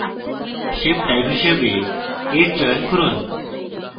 shape type হিসাবে edge চয়ন করুন